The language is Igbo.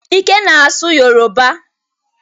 Ike na-asụ Yoroba.